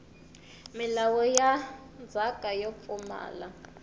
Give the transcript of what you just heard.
milawu ya ndzhaka yo pfumala